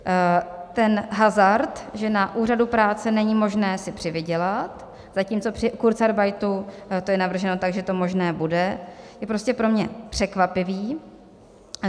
Ten hazard, že na úřadu práce není možné si přivydělat, zatímco při kurzarbeitu to je navrženo tak, že to možné bude, je pro mě prostě překvapivý.